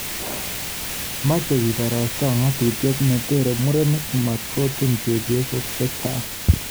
Meche kiborosto ng'atutiet ne tere murenik matkotun chebyosok chechaang